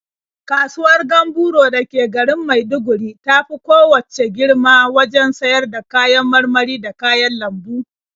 Kasuwar Gamburo da ke garin Maiduguri ta fi kowacce girma wajen siyar da kayan marmari da kayan lambu.